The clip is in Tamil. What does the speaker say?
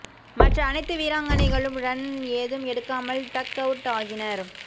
மற்ற அனைத்து வீராங்கனைகளும் ரன் ஏதும் எடுக்காமல் டக் அவுட் ஆகினர்